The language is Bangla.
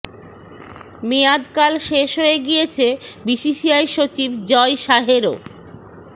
মেয়াদ কাল শেষ হয়ে গিয়েছে বিসিসিআই সচিব জয় শাহেরও